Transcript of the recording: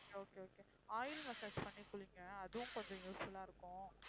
okay okay oil massage பண்ணி குளிங்க அதுவும் கொஞ்சம் useful ஆ இருக்கும்